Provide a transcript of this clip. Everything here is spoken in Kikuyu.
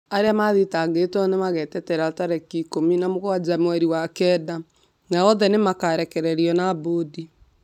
Arĩa mathitangĩtwo nĩ magetetera tarĩki ikũmi na mũgwanja mweri wa kenda, na othe nĩ marekereirio na mbũndi.